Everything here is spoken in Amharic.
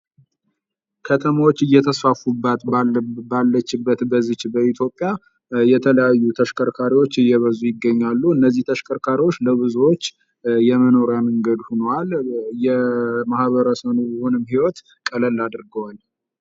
ከተማዎች እየተስፋፉባት ባለችበት በዚች በኢትዮጵያ የተለያዩ ተሽከርካሪዎች እየበዙ ይገኛሉ። እነዚህ ተሽከርካሪዎች ለብዙዎች የመኖሪያ መንገድ ሀነዋል የማህበረሰቡንም ህይወት ቀለል አድርገዋል።